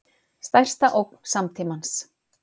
Stærsta ógn samtímans